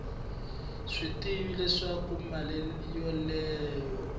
swi tivi leswaku mali yoleyo